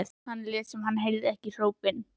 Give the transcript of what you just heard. Lét sem hann heyrði ekki hrópin.